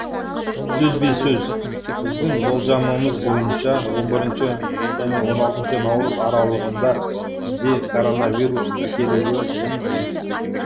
сөзбе сөз біздің болжамымыз бойынша он бірінші он алтыншы наурыз аралығында бізде коронавирус тіркелуі мүмкін